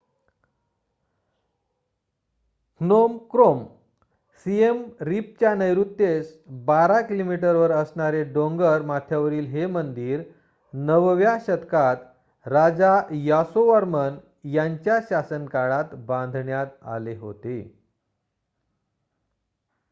Phnom Krom सिएम रिपच्या नैऋत्येस १२ किमी वर असणारे डोंगर माथ्यावरील हे मंदिर ९व्या शतकात राजा यासोवर्मन यांच्या शासनकाळात बांधण्यात आले होते